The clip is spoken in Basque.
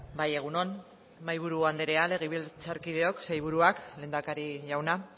bai egun on mahaiburu andrea legebiltzarkideok sailburuak lehendakari jauna